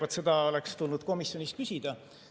Vaat seda oleks tulnud komisjonis küsida.